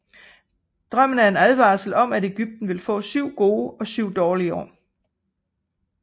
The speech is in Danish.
Drømmen er en advarsel om at Egypten vil få syv gode år og syv dårlige år